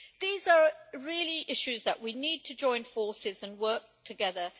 These are really issues where we need to join forces and work together.